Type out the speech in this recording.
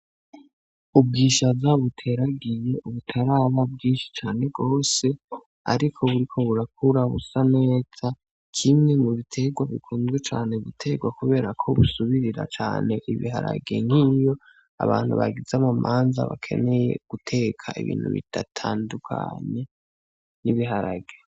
Ubwisha zabuteragiye ubutaraba bwinshi cane rwose, ariko buri ko burakura busa neza kimwe mu biterwa bikunzwe cane buterwa, kubera ko busubirira cane ibiharagiye nk'iyo abantu bagiza amu manza bakeneye guteka ibintu bidatandukanye n'ibiharage.